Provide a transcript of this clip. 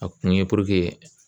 A kun ye puruke